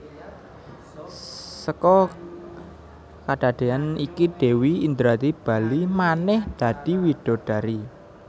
Seka kadadeyan iki Dewi Indradi bali manèh dadi widodari